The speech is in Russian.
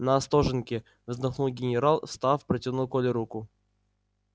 на остоженке вздохнул генерал и встав протянул коле руку